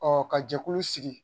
ka jɛkulu sigi